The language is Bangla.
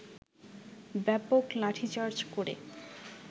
ব্যাপক লাঠিচার্জ করে